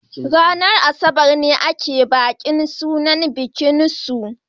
ranar Asabar ne ake bikin sunan.